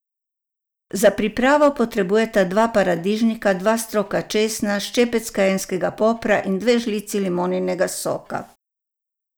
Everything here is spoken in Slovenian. Za pripravo potrebujete dva paradižnika, dva stroka česna, ščepec kajenskega popra in dve žlici limoninega soka.